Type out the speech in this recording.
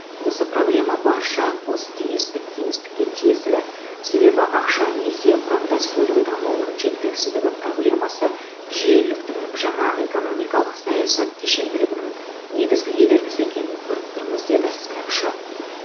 осы проблема барша посткеңестік кеңістікке тиесілі себебі ақша несие құрамдас бөлігі дамуының жеткіліксіздігі проблемасы жүйеліктің жаңа экономикалық саясат кешенділігінің негізгі кедергісі екенін көріп тұрмыз деді сарапшы